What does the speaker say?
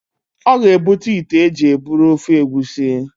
ọ ga-ebute ite e ji eburu ofe egusi